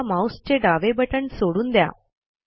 आता माऊसचे डावे बटण सोडून द्या